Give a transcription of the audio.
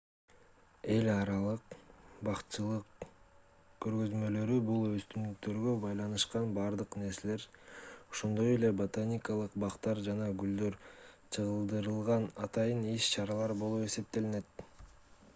эл аралык бакчылык көргөзмөлөрү бул өсүмдүктөргө байланышкан бардык нерселер ошондой эле ботаникалык бактар жана гүлдөр чагылдырылган атайын иш-чаралар болуп эсептелет